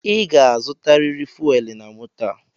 I ga-azutaririr fuelu na moto a!